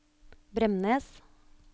Bremnes